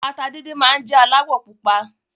Ata díndín máa n jẹ alawọ pupa.